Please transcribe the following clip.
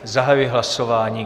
Zahajuji hlasování.